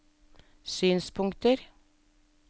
synspunkter